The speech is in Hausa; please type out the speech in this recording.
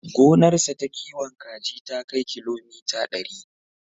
Gonarsa ta kiwon kaji ta kai kilomita ɗari.